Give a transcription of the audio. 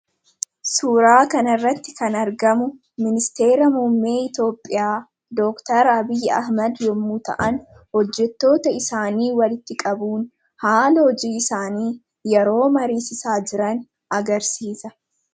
Suuraa kanarratti kan argamu Ministeera Muummee Itoophiyaa Dr Abiy Ahmad yommuu ta'an, hojjettota isaanii walitti qabuun haala hojii isaanii yeroo mariisisaa jiran agarsiisa.